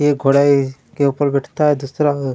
एक घोडा ए के ऊपर बैठता है दूसरा--